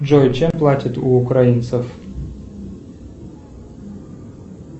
джой чем платят у украинцев